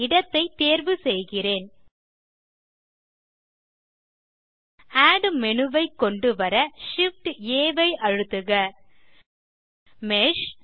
இடத்தை தேர்வு செய்கிறேன் ஆட் மேனு ஐ கொண்டுவர Shift ஆம்ப் ஆ ஐ அழுத்துக மேஷ்